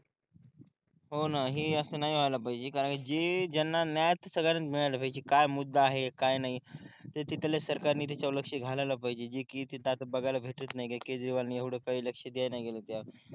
हो ना हे असं नाही व्हायला पाहिजे कारण जे ज्यांना न्याय तर सगळ्यांना मिळायला पाहिजे काय मुद्दा आहे काय नाही ते तिथल्या सरकार ने त्याच्यावर लक्ष घालायला पाहिजे जे कि आता तिथं बघायला भेटत नाही कि केजरीवाल नी एवढं काही लक्ष दिलं नाही गेलं त्या